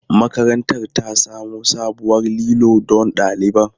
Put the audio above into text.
Makarantar ta samo sabuwar lilo don ɗaliban.